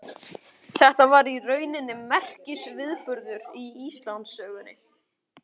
Þetta var í rauninni merkisviðburður í Íslandssögunni.